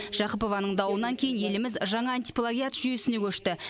жақыпованың дауынан кейін еліміз жаңа антиплагиат жүйесіне көшті